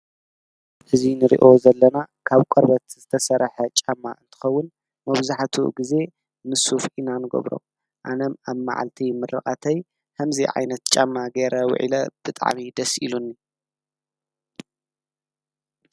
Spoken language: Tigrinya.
እዙይ ንርዮ ዘለና ካብ ቈርበት ዝተሠራሐ ጫማ እንትኸውን መብዙኃቱ ጊዜ ምሱፍ ኢናንገብሮ ኣነም ኣብ መዓልቲ ምርቓተይ ሕምዚ ዓይነት ጫማ ገይረ ውዒለ ብጥዕሚ ደስኢሉኒ።